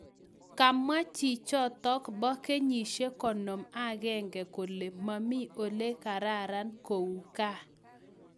Kamwaa chichotok poo kenyisiek konom Ak aenge kolee mamii olekararan kou gaaa